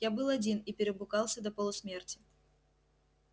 я был один и перепугался до полусмерти